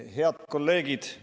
Head kolleegid!